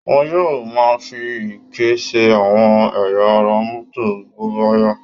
Wọn yóò máa fi ike ṣe àwọn ẹ̀yà ara mọ́tà bóbáyá